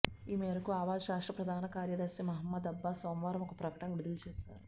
ఈ మేరకు ఆవాజ్ రాష్ట్ర ప్రధాన కార్యదర్శి మహమ్మద్ అబ్బాస్ సోమవారం ఒక ప్రకటన విడుదల చేశారు